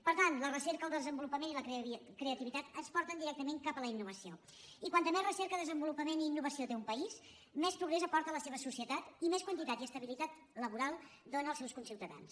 per tant la recerca el desenvolupament i la creativi·tat ens porten directament cap a la innovació i com més re cerca desenvolupament i innovació té un país més progrés aporta a la seva societat i més quantitat i es·tabilitat laboral dóna als seus conciutadans